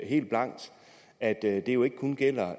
helt blankt at det jo ikke kun gælder